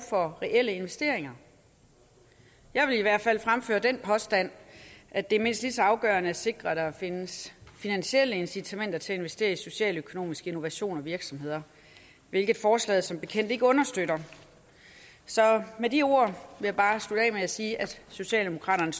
for reelle investeringer jeg vil i hvert fald fremføre den påstand at det er mindst lige så afgørende at sikre at der findes finansielle incitamenter til at investere i socialøkonomisk innovation og socialøkonomiske virksomheder hvilket forslaget som bekendt ikke understøtter så med de ord vil jeg bare slutte af med at sige at socialdemokraterne